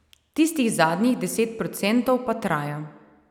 Tistih zadnjih deset procentov pa traja.